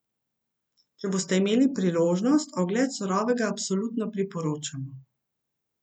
Če boste imeli priložnost, ogled Surovega absolutno priporočamo.